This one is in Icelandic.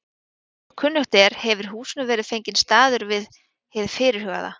En eins og kunnugt er, hefir húsinu verið fenginn staður við hið fyrirhugaða